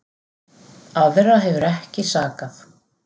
Aðra hefur ekki sakað